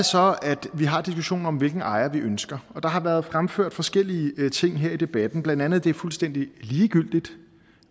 så at vi har diskussionen om hvilken ejer vi ønsker og der har været fremført forskellige ting her i debatten blandt andet at det er fuldstændig ligegyldigt